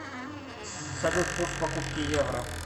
салют курс покупки евро